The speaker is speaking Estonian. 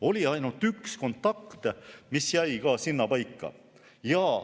Oli ainult üks kontakt, mis jäi ka sinnapaika.